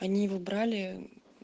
они его брали